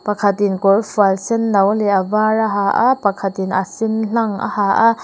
khatin kawrfual sen no leh a vâr a ha a pakhatin a sen hlang a ha a.